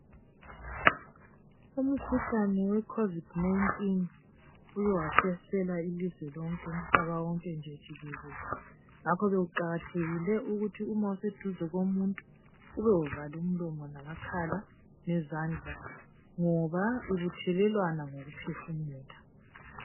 Umkhuhlane we covid 19 uke wahlasela ilizwe lonke umhlaba wonke nje jikelele ngakho sekuqakathekile ukuthi uma useduze komuntu ube uvale umlomo ,lamakhala lezandla ngoba ibithelelwana ngokuphefumula.